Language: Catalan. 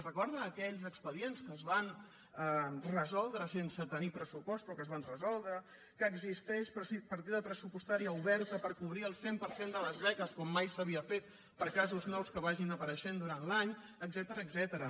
recorden aquells expedients que es van resoldre sense tenir pressupost però que es van resoldre que existeix partida pressupostària oberta per cobrir el cent per cent de les beques com mai s’havia fet per a casos nous que vagin apareixent durant l’any etcètera